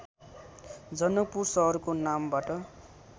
जनकपुर सहरको नामबाट